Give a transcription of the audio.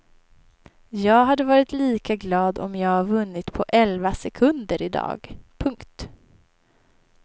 Jag hade varit lika glad om jag vunnit på elva sekunder i dag. punkt